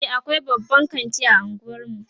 e akwai babban kanti a unguwarmu